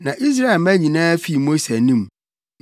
Na Israelmma nyinaa fii Mose anim,